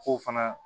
K'o fana